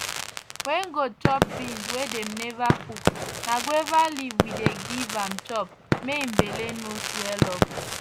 wen goat chop beans wey dem neva cook na guava leaf we dey giv am chop mae im belle no swell up